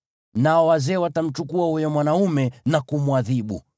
nao wazee watamchukua huyo mwanaume na kumwadhibu.